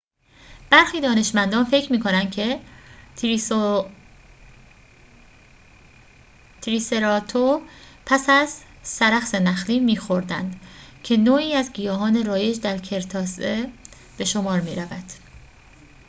برخی دانشمندان فکر می‌کنند که تریسراتوپس از سرخس نخلی می‌خوردند که نوعی از گیاهان رایج در کرتاسه به شمار می‌رود